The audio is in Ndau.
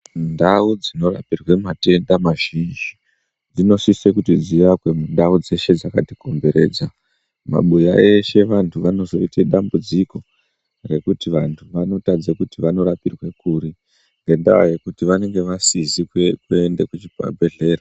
Ndau dzinorapirwe matenda mazhinji dzinosise kuti dziakwe mundau dzeshe dzakatikomberedza mabuya eshe vantu vanozoite dambudziko rekuti vantu vanotadze kuti vanorapirwe kuri ngendaa yekuti vanenge vasizi kuende kuzvibhedhlera.